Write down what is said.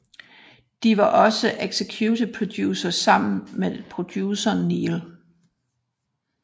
De var også executive producers sammen med produceren Neal H